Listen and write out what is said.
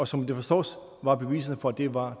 som det forstås var der beviser for at det var